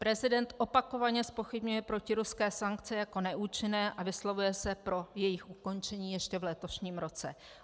Prezident opakovaně zpochybňuje protiruské sankce jako neúčinné a vyslovuje se pro jejich ukončení ještě v letošním roce.